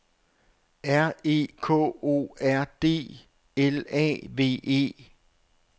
R E K O R D L A V E